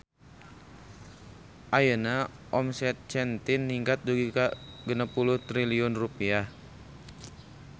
Ayeuna omset Zentin ningkat dugi ka 60 triliun rupiah